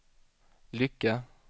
Lycke